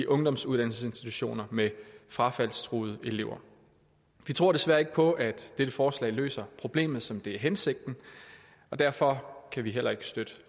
ungdomsuddannelsesinstitutioner med frafaldstruede elever vi tror desværre ikke på at dette forslag løser problemet som det er hensigten og derfor kan vi heller ikke støtte